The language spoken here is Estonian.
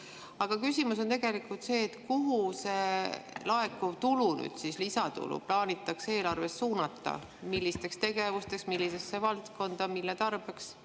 Aga küsimus on tegelikult see: kuhu see laekuv tulu, lisatulu plaanitakse eelarvest suunata – millisteks tegevusteks, millisesse valdkonda, mille tarbeks?